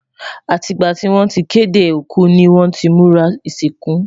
àti gbà tí wọn tí kéde òkú ní wón tí múra isinku